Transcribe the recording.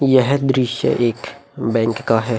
यह दृश्य एक बैंक का है।